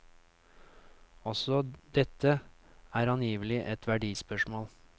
Også dette er angivelig et verdispørsmål.